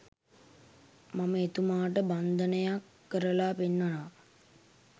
මම එතුමාට බන්ධනයක් කරලා පෙන්නනවා